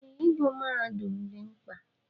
Ee, ịgụ mahadum dị mkpa.